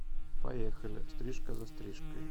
поехали стрижка за стрижкой